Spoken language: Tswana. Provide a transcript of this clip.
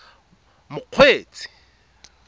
mokgweetsi